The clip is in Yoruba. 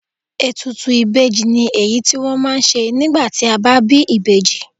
Ètùtù ìbejì ni èyí tí wọ́n ma ń ṣe nígbà tí a bá bí ìbejì.